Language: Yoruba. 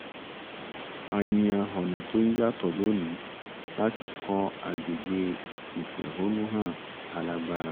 a yan ọ̀nà tó yàtọ̀ lónìí láti kọ agbègbè ìfẹ̀hónúhàn alágbára